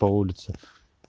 по улице